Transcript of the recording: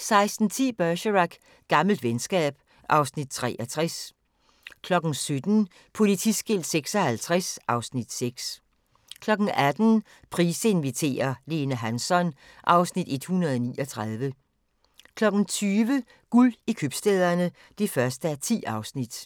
16:10: Bergerac: Gammelt venskab (Afs. 63) 17:00: Politiskilt 56 (Afs. 6) 18:00: Price inviterer - Lene Hansson (Afs. 139) 20:00: Guld i købstæderne (1:10)